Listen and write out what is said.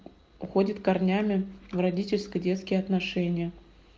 уходит корнями в родительско-детские отношения